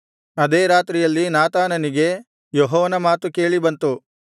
ಅದೇ ರಾತ್ರಿಯಲ್ಲಿ ನಾತಾನನಿಗೆ ಯೆಹೋವನ ಮಾತು ಕೇಳಿ ಬಂತು